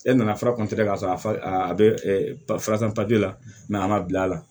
E nana fura ka sɔrɔ a bɛ fura san la a man bil'a la